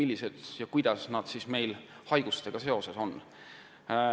Aga kuidas haigused neid mõjutavad?